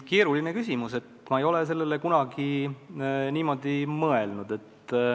Keeruline küsimus, ma ei ole sellele kunagi sellest vaatevinklist mõelnud.